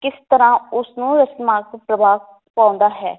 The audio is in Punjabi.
ਕਿਸ ਤਰਾਂ ਉਸ ਨੂੰ ਪ੍ਰਭਾਵ ਪਾਉਂਦਾ ਹੈ